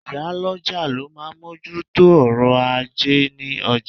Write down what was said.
Ìyálọ́jà ló máa ń moju tó ọ̀rọ̀ ajé ní ọjà